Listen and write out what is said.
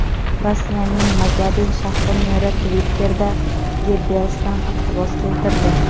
Rossiyaning Magadan shahri meri Twitter’da Gebbelsdan iqtibos keltirdi.